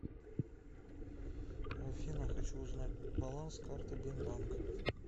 афина хочу узнать баланс карты бинбанк